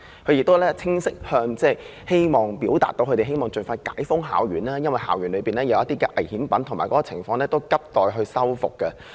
校方亦清晰向政府表示，希望能夠盡快將校園解封，因為校園內有些危險品，而且校內情況亦急待修復。